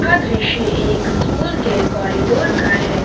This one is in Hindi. यह दृश्य एक स्कूल के कॉरिडोर का है।